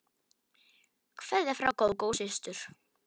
Kveðja frá Gógó systur.